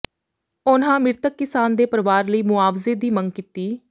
ਉਨ੍ਹਾ ਮ੍ਰਿਤਕ ਕਿਸਾਨ ਦੇ ਪਰਵਾਰ ਲਈ ਮੁਆਵਜ਼ੇ ਦੀ ਮੰਗ ਕੀਤੀ